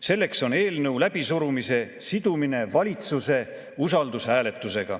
Selleks on eelnõu läbisurumise sidumine valitsuse usaldushääletusega.